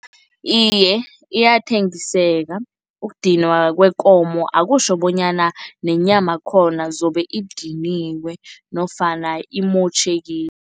Iye, iyathengiseka. Ukudinwa kwekomo akutjho bonyana nenyamakhona zobe idiniwe nofana imotjhekile.